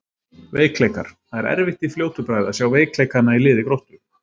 Veikleikar: Það er erfitt í fljótu bragði að sjá veikleikana í liði Gróttu.